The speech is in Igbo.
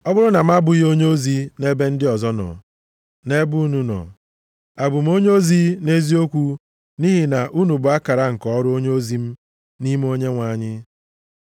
Ọ bụrụ na m abụghị onyeozi nʼebe ndị ọzọ nọ, nʼebe unu nọ, abụ m onyeozi nʼeziokwu nʼihi na unu bụ akara nke ọrụ onyeozi m nʼime Onyenwe anyị.